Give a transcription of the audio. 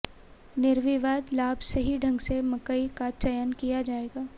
निर्विवाद लाभ सही ढंग से मकई का चयन किया जाएगा